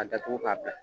A datugu k'a bila